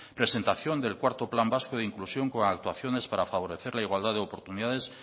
presentación del cuarto plan vasco de inclusión con actuaciones para favorecer la igualdad de oportunidades